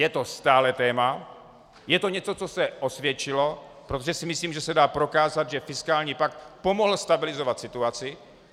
Je to stále téma, je to něco, co se osvědčilo, protože si myslím, že se dá prokázat, že fiskální pakt pomohl stabilizovat situaci.